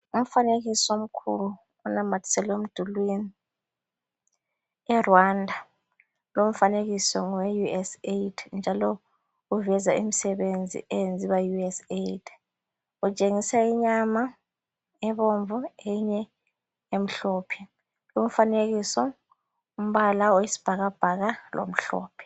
Umfanekiso omkhulu onamathiselwe emdulwini e Rwanda , lowu umfanekiso ngowe USAID oveza imisebenzi eyenziwa Yi USAID , utshengisa inyama ebomvu eyinye emhlophe , umfanekiso umbala wesibhakabhaka lomhlophe